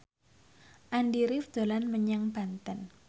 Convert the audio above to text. Andy rif dolan menyang Banten